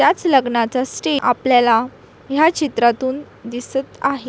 याच लग्नाचा स्टेज आपल्याला ह्या चित्रातून दिसत आहे.